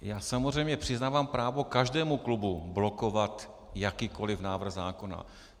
Já samozřejmě přiznávám právo každému klubu blokovat jakýkoliv návrh zákona.